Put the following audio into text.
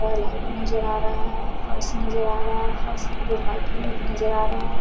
इधर लाइट नजर आ रहा है फर्श नजर आ रहा है फर्श उधर व्हाइट कलर की नजर आ रहा है।